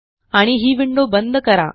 आणि ही विंडो बंद करा